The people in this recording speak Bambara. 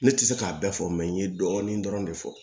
Ne tɛ se k'a bɛɛ fɔ n ye dɔɔnin dɔrɔn de fɔ